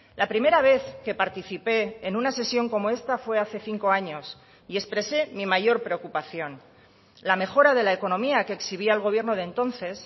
la primera vez que participé en una sesión como esta fue hace cinco años y expresé mi mayor preocupación la mejora de la economía que exhibía el gobierno de entonces